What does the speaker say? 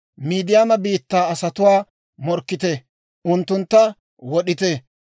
«Midiyaama biittaa asatuwaa morkkite; unttuntta wod'ite.